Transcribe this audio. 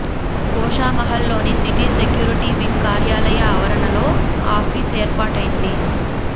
గోషామహల్ లోని city security wing కార్యాలయ ఆవరణలో ఆఫీస్ ఏర్పాటైంది